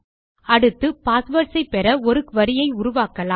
அடுத்து பாஸ்வேர்ட்ஸ் ஐ பெற ஒரு குரி ஐ உருவாக்கலாம்